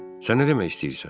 Sənə nə demək istəyirsən?